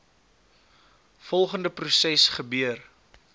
volgende proses gebeur